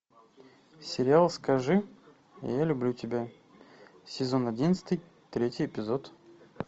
сериал скажи я люблю тебя сезон одиннадцатый третий эпизод